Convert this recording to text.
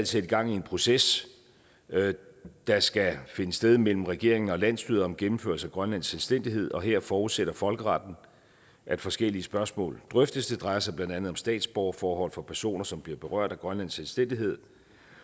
sætte gang i en proces der skal finde sted mellem regeringen og landsstyret om gennemførelse af grønlands selvstændighed og her forudsætter folkeretten at forskellige spørgsmål drøftes det drejer sig blandt andet om statsborgerforhold for personer som bliver berørt af grønlands selvstændighed